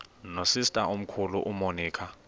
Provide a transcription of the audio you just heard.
nosister omkhulu umonica